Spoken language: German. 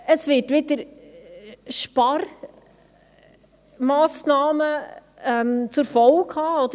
Dies wird wieder Sparmassnahmen zur Folge habe.